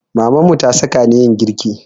Mamanmu ta saka ni yin girki